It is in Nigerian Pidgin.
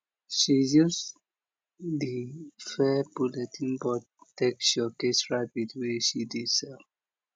she use di fair bulletin board take showcase rabbit wey she dey sell